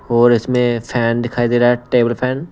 और इसमें फैन दिखाई दे रहा हैटेबल फैन--